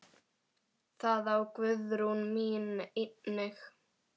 Það á Guðrún mín einnig.